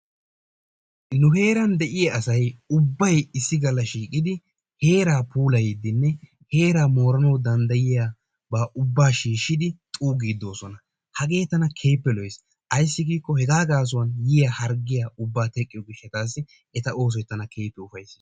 Nu heeran de'iyaa asay ubbay issi galla shiiqqidi heeraa puullayidinne heeraa mooranawu danddayiyaa ubbaa shiishidi xuuggiidi doosona. Hagee tana keehippe lo"ees. Ayssi giikko hegaa gaasuwaan yiyaa harggiyaa ubbaa tqqiyoo giishataassi eta oosoy tana keehippe ufayssees.